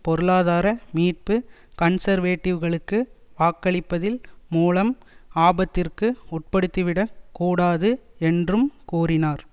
பொருளாதார மீட்பு கன்சர்வேடிவ்களுக்கு வாக்களிப்பதில் மூலம் ஆபத்திற்கு உட்படுத்திவிடக் கூடாது என்றும் கூறினார்